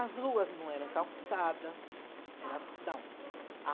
As ruas não eram calçadas, eram